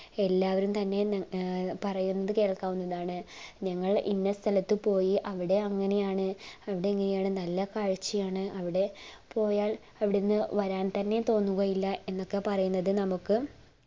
എല്ലാവരും തന്നെ ഏർ പറയുന്നത് കേൾക്കാവുന്നതാണ് ഞങ്ങൾ ഇന്ന സ്ഥലത്തു പോയി അവിടെ അങ്ങനെയാണ് അവിടെ അങ്ങനെയാണ് അവിടെ നല്ല കാഴ്ച്ചയാണ് അവിടെ പോയാൽ അവിടെന്ന് വരാൻ തന്നെ തോന്നുകയില്ല എന്നൊക്കെ പറയുന്നത് നമ്മുക്